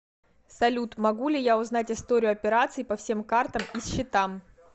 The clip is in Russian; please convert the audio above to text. салют могу ли я узнать историю операций по всем картам и счетам